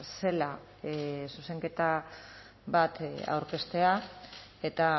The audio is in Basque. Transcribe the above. zela zuzenketa bat aurkeztea eta